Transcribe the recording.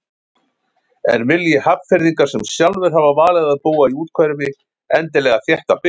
En vilji Hafnfirðingar sem sjálfir hafa valið að búa í úthverfi endilega þétta byggð?